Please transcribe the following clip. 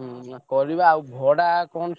ହୁଁ ପରିବା ଆଉ ଭଡା କଣ।